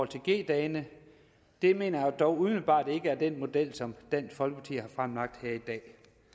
til g dagene det mener jeg dog umiddelbart ikke er den model som dansk folkeparti har fremlagt her i dag